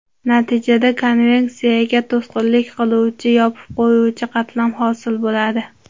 Natijada konveksiyaga to‘sqinlik qiluvchi ‘yopib qo‘yuvchi’ qatlam hosil bo‘ladi.